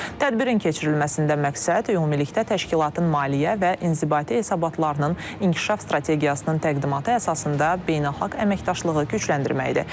Tədbirin keçirilməsində məqsəd ümumilikdə təşkilatın maliyyə və inzibati hesabatlarının inkişaf strategiyasının təqdimatı əsasında beynəlxalq əməkdaşlığı gücləndirməkdir.